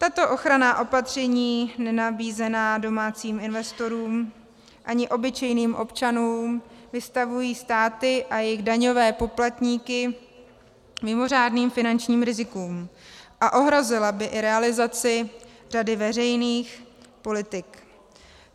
Tato ochranná opatření nenabízená domácím investorům ani obyčejným občanům vystavují státy a jejich daňové poplatníky mimořádným finančním rizikům a ohrozila by i realizaci řady veřejných politik.